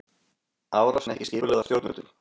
Árásin ekki skipulögð af stjórnvöldum